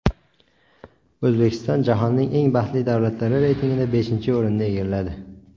O‘zbekiston jahonning eng baxtli davlatlari reytingida beshinchi o‘rinni egalladi.